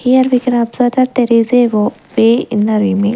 Here we can observe that there is a o way in the rema --